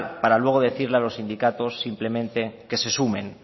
para luego decirle a los sindicatos simplemente que se sumen